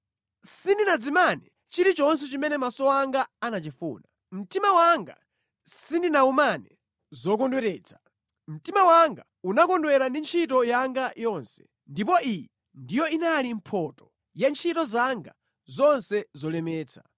Sindinadzimane chilichonse chimene maso anga anachifuna; mtima wanga sindinawumane zokondweretsa. Mtima wanga unakondwera ndi ntchito yanga yonse, ndipo iyi ndiyo inali mphotho ya ntchito zanga zonse zolemetsa.